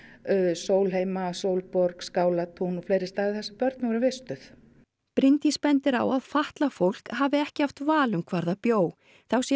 Sólheima Sólborg Skálatún og fleiri staði þar sem börn voru vistuð Bryndís bendir á að fatlað fólk hafi ekki haft val um hvar það bjó þá sé